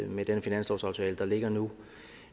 med den finanslovsaftale der ligger nu